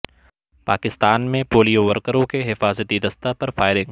پاکستان میں پولیو ورکروں کے حفاظتی دستہ پر فائرنگ